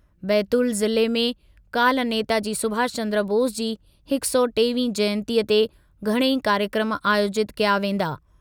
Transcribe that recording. बैतूल ज़िले में काल्ह नेताजी सुभाषचन्द्र बोस जी हिकु सौ टेवीहीं जयंतीअ ते घणई कार्यक्रमु आयोजितु कया वेंदा।